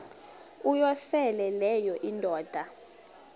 uyosele leyo indoda